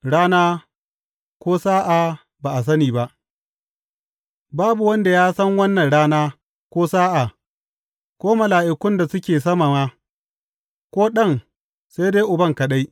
Rana ko sa’a ba a sani ba Babu wanda ya san wannan rana ko sa’a, ko mala’ikun da suke sama ma, ko Ɗan, sai dai Uban kaɗai.